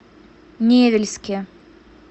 невельске